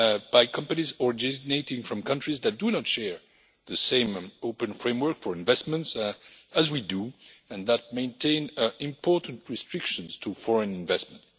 by companies originating from countries that do not share the same open framework for investments as we do, which maintain important restrictions on foreign investment.